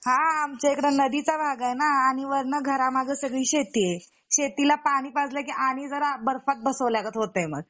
हा आमचे आमच्या इकडे नदीचा भाग आहे ना आणि वरन घरामघ्ये सगळी शेती आहे शेतीला पाणी पाजलकी आणि जरा बर्फात बसवल्यागत होत आहे मग